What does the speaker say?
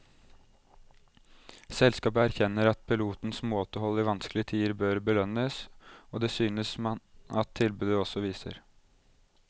Selskapet erkjenner at pilotenes måtehold i vanskelige tider bør belønnes, og det synes man at tilbudet også viser.